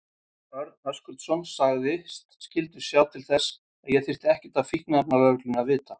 Örn Höskuldsson sagðist skyldu sjá til þess að ég þyrfti ekkert af fíkniefnalögreglunni að vita.